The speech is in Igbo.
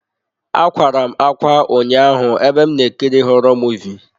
Akwara m ákwá ụnyaahụ ebe m na-ekiri họrọ Muvịị.